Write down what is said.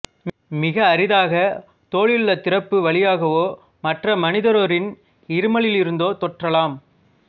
மிக அரிதாக தோலுள்ள திறப்பு வழியாகவோ மற்ற மனிதரொருவரின் இருமலிலிருந்தோ தொற்றலாம்